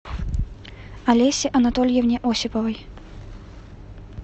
олесе анатольевне осиповой